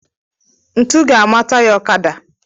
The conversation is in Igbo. Ntụ ga ama taya ọkada